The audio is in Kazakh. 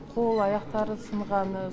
қол аяқтары сынғаны